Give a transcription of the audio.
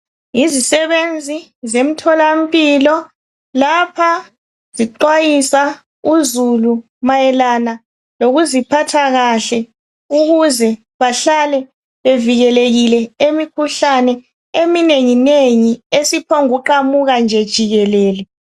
Yizisebenzi zemtholampilo lapha zixwayisa uzulu mayelana lokuziphatha kahle ukuze bahlale bevikelekile emikhuhlaneni eminenginengi eziphombu kuqamuka nje jikelele.